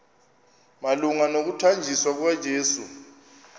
malunga nokuthanjiswa kukayesu